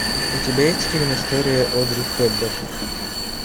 у тебя есть фильм история одри хепберн